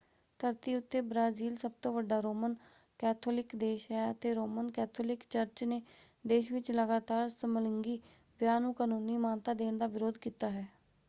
ਧਰਤੀ ਉੱਤੇ ਬਰਾਜ਼ੀਲ ਸਭਤੋਂ ਵੱਡਾ ਰੋਮਨ ਕੈਥੋਲਿਕ ਦੇਸ਼ ਹੈ ਅਤੇ ਰੋਮਨ ਕੈਥੋਲਿਕ ਚਰਚ ਨੇ ਦੇਸ਼ ਵਿੱਚ ਲਗਾਤਾਰ ਸਮਲਿੰਗੀ ਵਿਆਹ ਨੂੰ ਕਾਨੂੰਨੀ ਮਾਨਤਾ ਦੇਣ ਦਾ ਵਿਰੋਧ ਕੀਤਾ ਹੈ।